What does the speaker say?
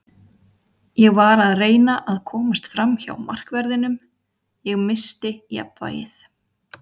Ég var að reyna að komast framhjá markverðinum, ég missti jafnvægið.